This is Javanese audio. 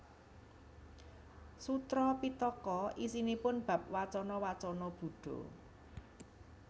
Sutra Pittaka isinipun bab wacana wacana Buddha